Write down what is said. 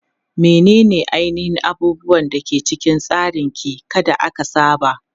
Menene ainihin abubuwan da ke cikin tsarin ki ka da aka saba?